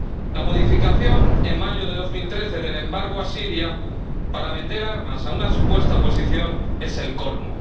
La modificación en mayo de 2013 del embargo a Siria para vender armas a una supuesta oposición es el colmo.